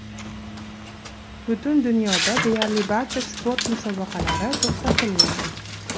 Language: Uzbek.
Butun dunyoda deyarli barcha sport musobaqalari to‘xtatilgan.